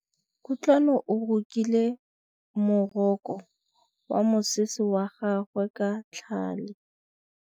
Kutlwanô o rokile morokô wa mosese wa gagwe ka tlhale.